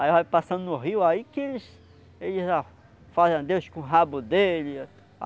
Aí vai passando no rio, aí que eles eles fazem adeus com o rabo dele.